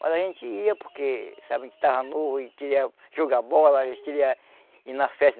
Mas a gente ia porque, sabe, a gente estava novo e queria jogar bola, a gente queria ir na festa.